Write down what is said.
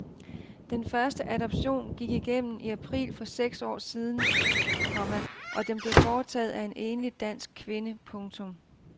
Den første adoption gik igennem i april for seks år siden, komma og den blev foretaget af en enlig dansk kvinde. punktum